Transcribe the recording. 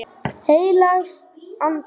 Heilags Anda.